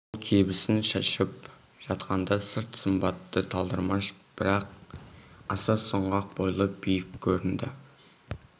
ол кебісін шешіп жатқанда сырт сымбаты талдырмаш бірақ аса сұңғақ бойлы биік көрінді